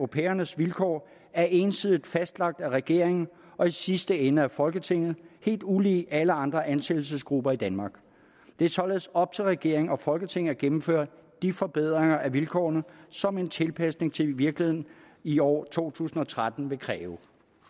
pigernes vilkår er ensidigt fastlagt af regeringen og i sidste ende af folketinget helt ulig alle andre ansættelsesgrupper i danmark det er således op til regeringen og folketinget at gennemføre de forbedringer af vilkårene som en tilpasning til virkeligheden i år to tusind og tretten vil kræve